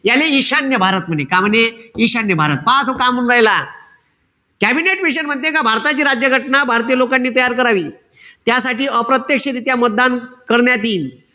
याले ईशान्य भारत म्हणे. काय म्हणे? ईशान्य भारत. पहा तो काय म्हणू रायीला. कॅबिनेट मिशन म्हणते का भारताची राज्य घटना भारतीय लोकांनी तयार करावी, त्यासाठी अप्रत्यक्षरित्या मतदान करण्यात यील.